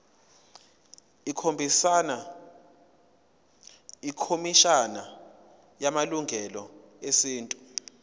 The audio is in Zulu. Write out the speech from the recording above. ikhomishana yamalungelo esintu